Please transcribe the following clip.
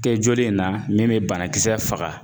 Kɛ joli in na min bɛ banakisɛ faga